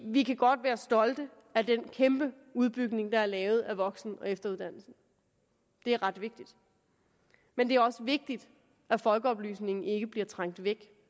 vi kan godt være stolte af den kæmpe udbygning der er lavet af voksen og efteruddannelsen det er ret vigtigt men det er også vigtigt at folkeoplysningen ikke bliver trængt væk